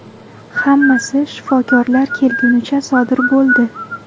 Hammasi shifokorlar kelgunicha sodir bo‘ldi.